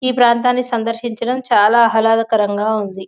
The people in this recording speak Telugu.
ఈ ప్రాంతాన్ని సందర్శించడం చాలా ఆహ్లాదకరంగా ఉంది.